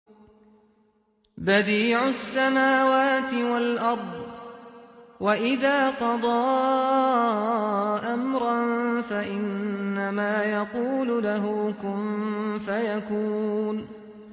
بَدِيعُ السَّمَاوَاتِ وَالْأَرْضِ ۖ وَإِذَا قَضَىٰ أَمْرًا فَإِنَّمَا يَقُولُ لَهُ كُن فَيَكُونُ